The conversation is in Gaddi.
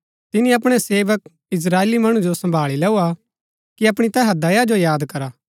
तिनी अपणै सेवक इस्त्राएली मणु जो सम्भाळी लैऊआ कि अपणी तैहा दया जो याद करा